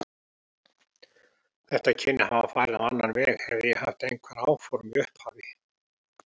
Þetta kynni að hafa farið á annan veg, hefði ég haft einhver áform í upphafi.